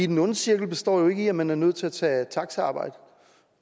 den onde cirkel består jo ikke i at man er nødt til at tage taxaarbejde